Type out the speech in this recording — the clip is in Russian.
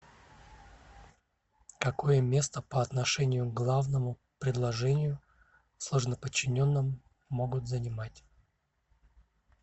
какое место по отношению к главному предложению в сложноподчиненном могут занимать